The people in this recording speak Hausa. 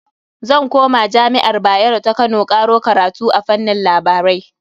Zan koma jami'ar Bayero ta Kano karo karatu a fannin labarai.